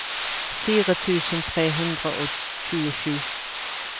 fire tusen tre hundre og tjuesju